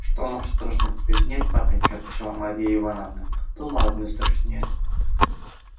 что маша страшно тебе нет папенька отвечала марья ивановна дома одной страшнее